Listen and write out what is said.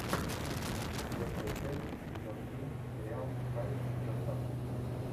четвертая часть сезон три сериал кайф с доставкой